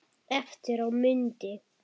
Eftir á mundi